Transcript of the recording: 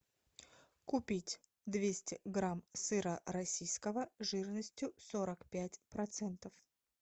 купить двести грамм сыра российского жирностью сорок пять процентов